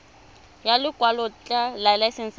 ya lekwalotetla laesense ya go